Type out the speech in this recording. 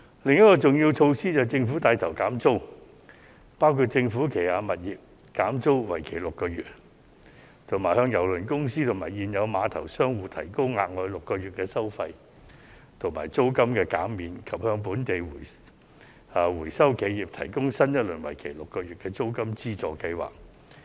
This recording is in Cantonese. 另一項重要措施是政府帶頭減免租金，包括政府旗下的物業減租為期6個月、向郵輪公司和現有碼頭商戶提供額外6個月的收費及租金減免，以及向本地回收企業提供新一輪為期6個月的租金資助計劃。